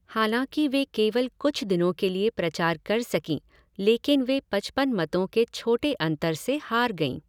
हालाँकि वे केवल कुछ दिनों के लिए प्रचार कर सकीं, लेकिन वे पचपन मतों के छोटे अंतर से हार गईं।